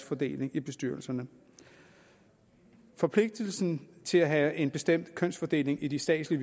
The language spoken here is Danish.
fordeling i bestyrelserne forpligtelsen til at have en bestemt kønsfordeling i de statslige